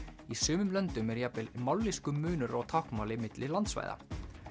í sumum löndum er jafnvel mállýskumunur á táknmáli milli landsvæða